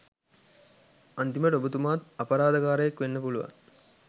අන්තිමට ඔබතුමත් අපරාධකාරයෙක් වෙන්න පුළුවන්